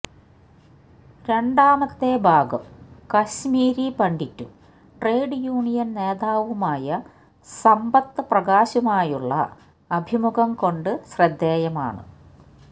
രണ്ടാമത്തെ ഭാഗം കശ്മീരി പണ്ഡിറ്റും ട്രേഡ് യൂനിയന് നേതാവുമായ സമ്പത്ത് പ്രകാശുമായുള്ള അഭിമുഖം കൊണ്ട് ശ്രദ്ധേയമാണ്